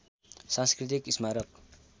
सांस्कृतिक स्मारक